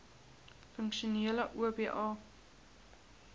funksionele oba